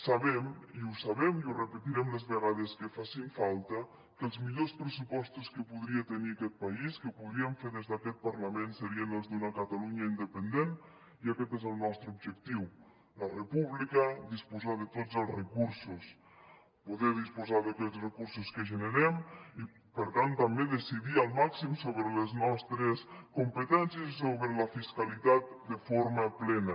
sabem i ho sabem i ho repetirem les vegades que facin falta que els millors pressupostos que podria tenir aquest país que podríem fer des d’aquest parlament serien els d’una catalunya independent i aquest és el nostre objectiu la república disposar de tots els recursos poder disposar d’aquells recursos que generem i per tant també decidir al màxim sobre les nostres competències i sobre la fiscalitat de forma plena